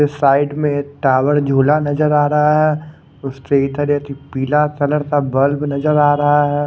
Side में towel झूला नजर आ रहा हैं तरह की पीला कलर का बल्ब नजर आ रहा हैं।